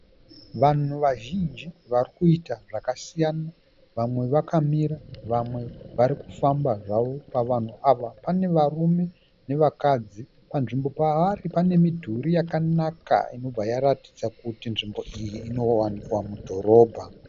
Vanhu vazhinji varikuita zvakasiyana . Vamwe vakamira vamwe varikufamba zvavo . Pavanhu ava pane varume nevakadzi panzvimbo pavari panemidhuri yakanaka inobva yaratidza kuti nzvimbo iyi inowanikwa mudhorobha.